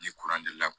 Ni deli la